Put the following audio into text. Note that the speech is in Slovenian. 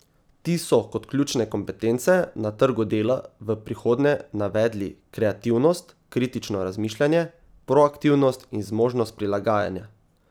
Ti so kot ključne kompetence na trgu dela v prihodnje navedli kreativnost, kritično razmišljanje, proaktivnost in zmožnost prilagajanja.